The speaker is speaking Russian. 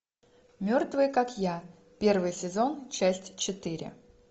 мертвые как я первый сезон часть четыре